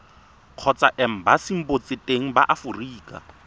kgotsa embasing botseteng ba aforika